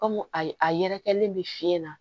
Kɔmi a ye a yɛrɛkɛlen bɛ fiɲɛ na